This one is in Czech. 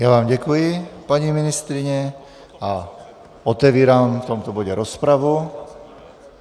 Já vám děkuji, paní ministryně, a otevírám v tomto bodě rozpravu.